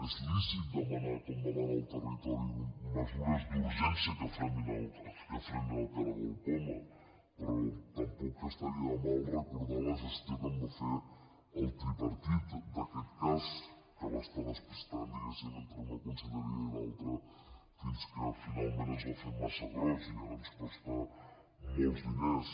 és lícit demanar com demana el territori mesures d’urgència que frenin el caragol poma però tampoc estaria de més recordar la gestió que en va fer el tripartit d’aquest cas que va estar despistant diguéssim entre una conselleria i l’altra fins que finalment es va fer massa gros i ara ens costa molts diners